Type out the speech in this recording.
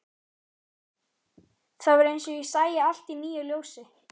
Það var eins og ég sæi allt í nýju ljósi.